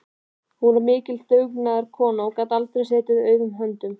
Hún var mikil dugnaðarkona og gat aldrei setið auðum höndum.